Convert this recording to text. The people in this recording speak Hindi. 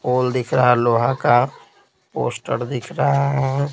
पोल दिख रहा लोहा का पोस्टर दिख रहा है।